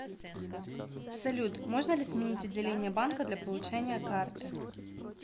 салют можно ли сменить отделение банка для получения карты